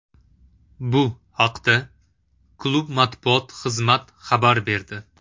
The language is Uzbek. Bu haqda klub matbuot xizmat xabar berdi .